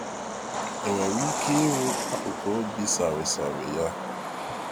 E nwere ike iru akụkụ obi sarịsarị ya?